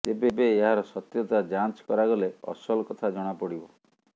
ତେବେ ଏହାର ସତ୍ୟତା ଯାଞ୍ଚ କରାଗଲେ ଅସଲ କଥା ଜଣାପଡ଼ିବ